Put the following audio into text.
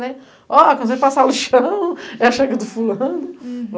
Quando você passa o lixão, é a chega do fulano.